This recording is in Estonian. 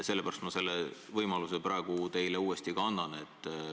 Sellepärast ma selle võimaluse teile uuesti ka annan.